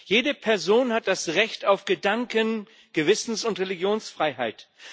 Jede Person hat das Recht auf Gedanken Gewissens und Religionsfreiheit.